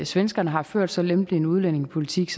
svenskerne har ført så lempelig en udlændingepolitik